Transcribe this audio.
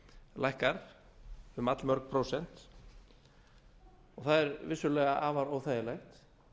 lækkar um allmörg prósent og það er vissulega afar óþægilegt